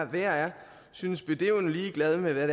værre er synes bedøvende ligeglade med hvad